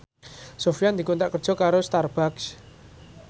Sofyan dikontrak kerja karo Starbucks